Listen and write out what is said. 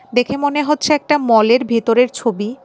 দেখে মনে হচ্ছে একটা মলের ভেতরের ছবি।